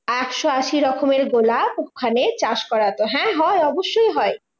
একশো আশি রকমের গোলাপ ওখানে চাষ করাতো। হ্যাঁ হয় অবশ্যই হয়।